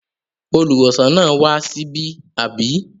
Olùwòsàn náà wá síbí, àbí?